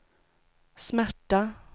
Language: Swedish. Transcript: smärta